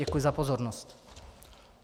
Děkuji za pozornost.